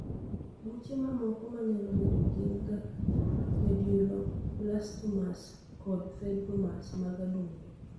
Buche mamoko manyalo bedo gin kaka medulloblastomas kod fibromas mag adundo